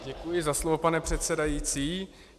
Děkuji za slovo, pane předsedající.